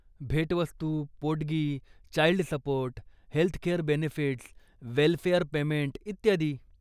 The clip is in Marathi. भेटवस्तू, पोटगी, child support, healthcare benefits, welfare payment इत्यादी.